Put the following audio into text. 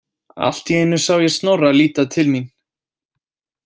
Allt í einu sá ég Snorra líta til mín.